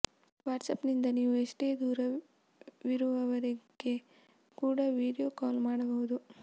WhatsApp ನಿಂದ ನೀವು ಎಷ್ಟೇ ದೂರವಿರುವವರಿಗೆ ಕೂಡ ವಿಡಿಯೋ ಕಾಲ್ ಮಾಡಬಹುದು